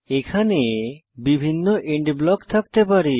এখানে বিভিন্ন end block থাকতে পারে